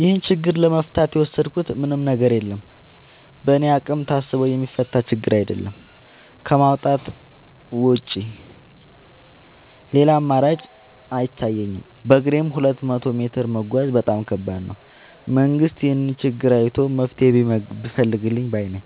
ይህን ችግር ለመፍታት የወሰድኩት ምንም ነገር የለም በእኔ አቅም ታስቦ የሚፈታ ችግርም አይደለም ከማውጣት ውጪ ሌላ አማራጭ አይታየኝም በግሬም ሁለት መቶ ሜትር መጓዝ በጣም ከባድ ነው። መንግስት ይህንን ችግር አይቶ መፍትሔ ቢፈልግልን ባይነኝ።